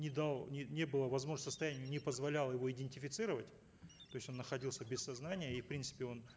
не дал не не было возможности состояние не позволяло его идентифицировать то есть он находился без сознания и в принципе он